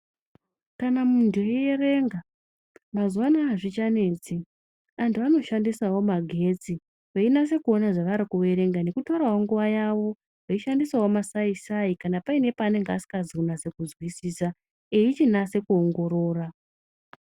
Kana munthueierenga mazuwa ano azvichanetsi .Anthu anoshandisawo magetsi veinase kuona zvavarikuerenga nekutorawo nguwa yavo veishandisawo masaisai kana paine paasikazi kunase kuzwisisa eichiongorora.